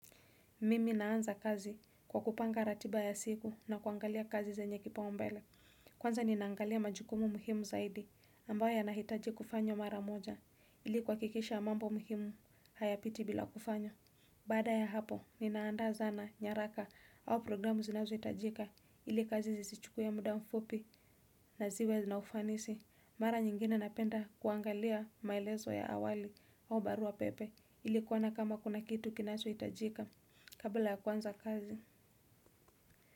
Mimi naanza kazi kwa kupanga ratiba ya siku na kuangalia kazi zenye kipaumbele. Kwanza ninaangalia majukumu muhimu zaidi ambayo yanahitaji kufanywa mara moja ili kuhakikisha mambo muhimu hayapiti bila kufanywa. Baada ya hapo ninaanda zana, nyaraka au programu zinazohitajika ili kazi zisichukue muda mfupi na ziwe na ufanisi. Mara nyingine napenda kuangalia maelezo ya awali au barua pepe ili kuona kama kuna kitu kinachohtajika. Kabla ya kuanza kazi.